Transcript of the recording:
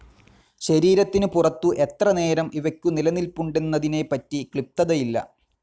ശരീരത്തിന് പുറത്തു എത്ര നേരം ഇവയ്ക്കു നിലനിൽപ്പുണ്ടെന്നതിനെ പറ്റി ക്ലിപ്തതയില്ല